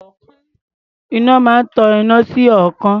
Iná máa ń tan iná sí ọ̀ọ́kán.